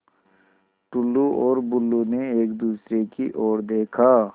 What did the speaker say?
टुल्लु और बुल्लु ने एक दूसरे की ओर देखा